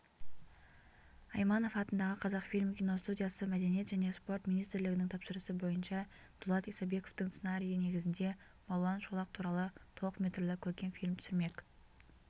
айманов атындағы қазақфильм киностудиясы мәдениет және спорт министрлігінің тапсырысы бойынша дулат исабековтің сценарийі негізінде балуан шолақ туралы толықметрлі көркем фильм түсірмек